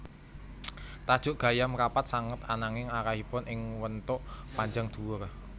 Tajuk gayam rapat sanget ananging arahipun ing wentuk panjang dhuwur